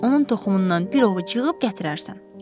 Onun toxumundan bir ovuc yığıb gətirərsən.